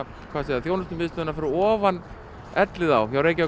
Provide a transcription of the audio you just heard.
þjónustusvæðið fyrir ofan Elliðaár